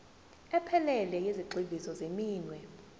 ephelele yezigxivizo zeminwe